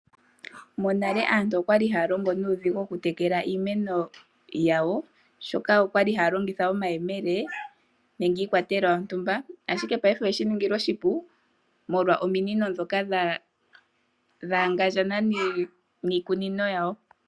Monale aantu okwali haya longo nuudhigu okutekela iimeno yawo oshoka okwali haya longitha omayemele nenge iikwatelwa yontumba ashike payife oyeshi ningilwa oshipu molwa ominino ndhoka dhaagandja niikunino yawo.